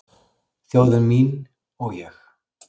Þjóð mín og ég